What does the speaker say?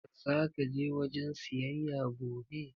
Zaka je wajen siyayya gobe?